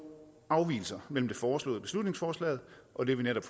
afvigelser mellem det foreslåede beslutningsforslag og det vi netop